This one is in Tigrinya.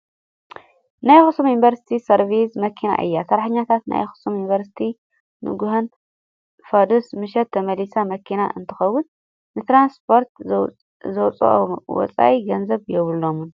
ናይ ኣክሱም ዩኒቨርስቲ ሰርቪስ መኪና እያ። ሰራሕተኛታት ናይ ኣክሱም ዩኒቨርስቲ ንግሆን ፋድስ፣ ምሸት ተመላልስ መኪና እንትከውን ንትራንስፖርት ዝወፅእ ወፃኢ ገንዘብ የብሎምን።